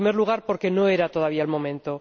En primer lugar, porque no era todavía el momento.